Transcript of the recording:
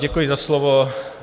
Děkuji za slovo.